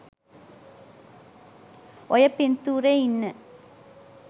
ඔය පින්තූරෙ ඉන්න